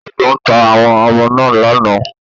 Agbón ta àwọn Ọmọ náà lánàá